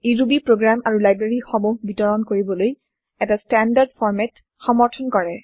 ই Ruby program আৰু library সমূহ বিতৰণ কৰিবলৈ এটা ষ্টেনডাৰ্ড ফৰ্মেট সমৰ্থন কৰে